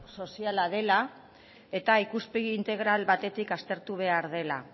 soziala dela isiltasuna mesedez eta ikuspegi integral batetik aztertu behar dela